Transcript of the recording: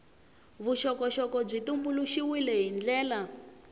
vuxokoxoko byi tumbuluxiwile hi ndlela